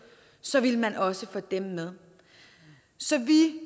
så ville man også få dem med så vi